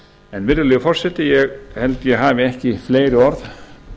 en virðulegi forseti ég held að ég hafi ekki fleiri orð